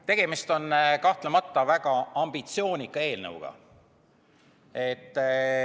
Tegemist on kahtlemata väga ambitsioonika eelnõuga.